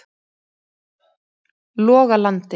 Logalandi